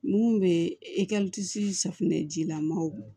Mun bɛ safinɛjilamɔw